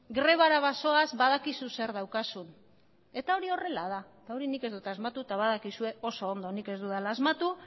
grebara bazoaz badakizu zer daukazun eta hori horrela da eta hori nik ez dut asmatu eta badakizue oso ondo nik ez dudala asmatu